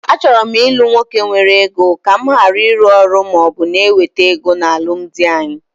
Achọrọ m ilu nwoke nwere ego, ka mụ gharị ịrụ ọrụ maọbụ na ewete ego na alụmdi anyị